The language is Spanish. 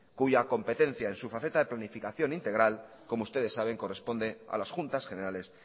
cuya competencia en su faceta de planificación integral como ustedes saben corresponde a las juntas generales